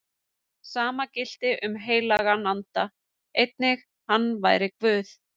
Sama gilti um heilagan anda, einnig hann væri Guð.